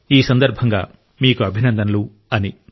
ఈ సందర్భంగా మీకు అభినందనలు అని